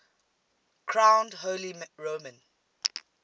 crowned holy roman